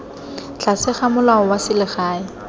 tlase ga molao wa selegae